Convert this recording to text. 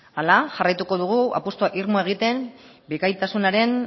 horrela jarraituko dugu apustu irmo egiten bikaintasunaren